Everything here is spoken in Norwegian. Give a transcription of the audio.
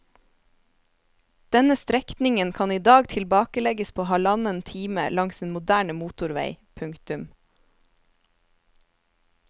Denne strekningen kan i dag tilbakelegges på halvannen time langs en moderne motorvei. punktum